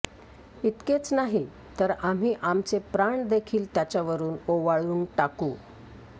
इतकेच नाही तर आम्ही आमचे प्राणदेखील त्याच्यावरून ओवाळून टाकू